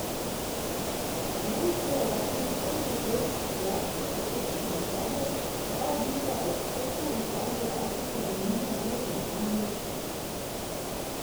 V njem uspeva več kot petdeset vrst zlasti eksotičnega sadja, prava džungla eksotov iz Azije, Afrike in Južne Amerike na enem mestu.